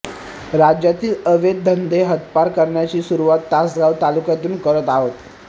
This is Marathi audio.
राज्यातील अवैध धंदे हद्दपार करण्याची सुरुवात तासगाव तालुक्यातून करत आहोत